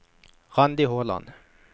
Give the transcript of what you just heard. Randi Håland